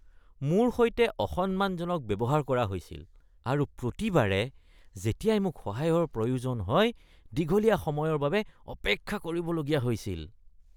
মোৰ সৈতে অসন্মানজনক ব্যৱহাৰ কৰা হৈছিল আৰু প্ৰতিবাৰে যেতিয়াই মোক সহায়ৰ প্ৰয়োজন হয় দীঘলীয়া সময়ৰ বাবে অপেক্ষা কৰিবলগীয়া হৈছিল।